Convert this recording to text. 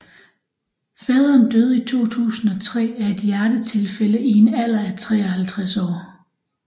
Faderen døde i 2003 af et hjertetilfælde i en alder af 53 år